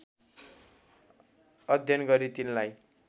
अध्ययन गरी तिनलाई